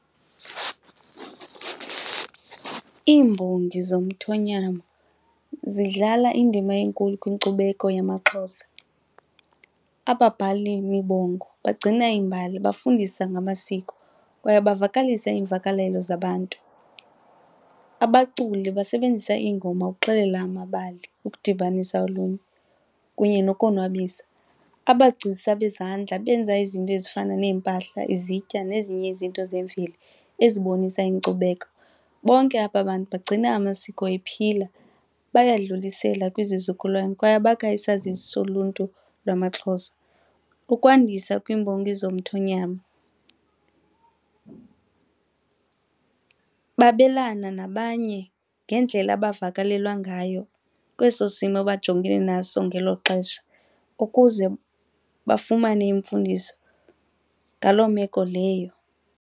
Iimbongi zomthonyama zidlala indima enkulu kwinkcubeko yamaXhosa. Ababhali mibongo bagcina iimbali, bafundisa ngamasiko kwaye bavakalisa iimvakalelo zabantu. Abaculi basebenzisa iingoma ukuxelela amabali, ukudibanisa oluntu kunye nokonwabisa. Abagcisa bezandla benza izinto ezifana neempahla, izitya nezinye izinto zemveli ezibonisa inkcubeko. Bonke aba bantu bagcina amasiko ephila bayadlulisela kwizizukulwana kwaye bakha isazisi soluntu lwamaXhosa. Ukwandisa kwiimbongi zomthonyama, babelana nabanye ngendlela abavakalelwa ngayo kweso simo bajongene naso ngelo xesha ukuze bafumane imfundiso ngalo meko leyo.